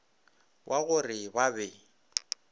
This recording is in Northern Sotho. wa go re ba be